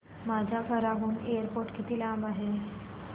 माझ्या घराहून एअरपोर्ट किती लांब आहे